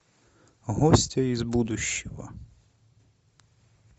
гостья из будущего